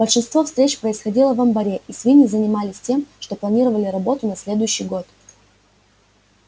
большинство встреч происходило в амбаре и свиньи занимались тем что планировали работу на следующий год